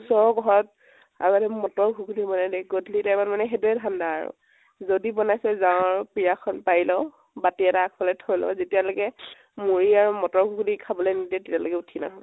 ওচৰৰ ঘৰত আগতে মটৰ ঘুগুণী বনাই দেই । গধুলী time ত মানে সেইটোৱে ধান্দা আৰু । যদি বনাইছে যাওঁ আৰু পিৰা খন পাৰি লওঁ, বাতি এটা আগ্ফালে থৈ লও । যেতিয়ালৈকে মুড়ী আৰু মটৰ ঘুগুণী খাব নিদিয়ে, তেতিয়ালৈকে উঠি নাহো